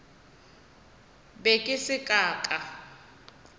be ke se ka ka